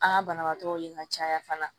An ka banabaatɔw ye ka caya fana